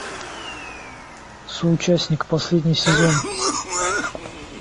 соучастник последний сезон